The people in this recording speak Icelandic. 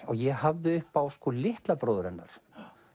ég hafði upp á litla bróður hennar